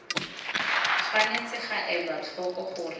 tshwanetse ga elwa tlhoko gore